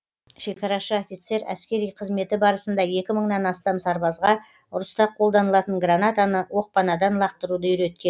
шекарашы офицер әскери қызметі барысында екі мыңнан астам сарбазға ұрыста қолданылатын гранатаны оқпанадан лақтыруды үйреткен